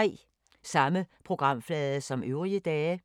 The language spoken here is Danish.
Samme programflade som øvrige dage